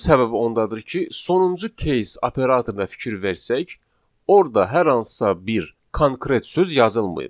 Bunun səbəbi ondadır ki, sonuncu case operatoruna fikir versək, orda hər hansısa bir konkret söz yazılmayıb.